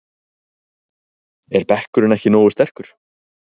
Er bekkurinn ekki nógu sterkur?